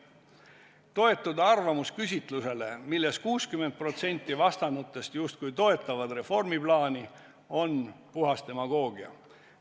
Toetuda arvamusküsitlusele, milles 60% vastanutest justkui toetavad reformiplaani, on puhas demagoogia.